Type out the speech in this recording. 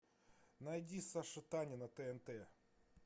найди саша таня на тнт